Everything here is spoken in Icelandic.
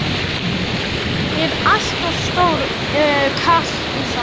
Ég er allt of stór karl í það.